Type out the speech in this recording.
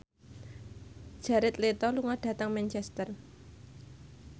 Jared Leto lunga dhateng Manchester